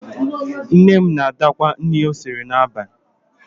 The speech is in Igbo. Nne m na-adakwa nri o siri n'abalị.